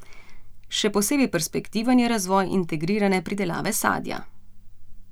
Še posebej perspektiven je razvoj integrirane pridelave sadja.